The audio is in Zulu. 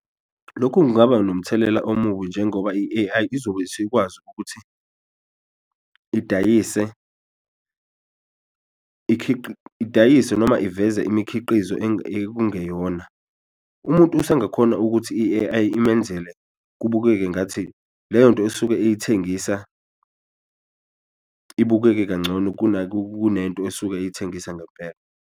Lokhu kungaba nomthelela omubi njengoba i-A_I izobe seyikwazi ukuthi idayise idayise noma iveze imikhiqizo ekungeyona, umuntu usengakhona ukuthi i-A_I imenzele kubukeka ngathi leyonto esuke eyithengisa ibukeke kancono kunento esuke eyithengisa ngempela.